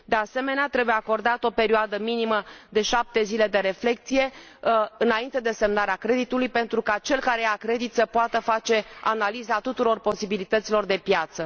De asemenea, trebuie acordată o perioadă minimă de 7 zile de reflecție, înainte de semnarea creditului, pentru ca cel care ia credit să poată face analiza tuturor posibilităților de piață.